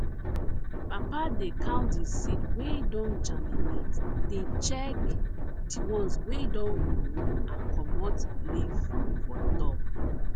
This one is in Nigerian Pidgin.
papa dey count di seed wey don germinate dey check di ones wey don grow and comot leaf for top